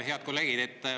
Head kolleegid!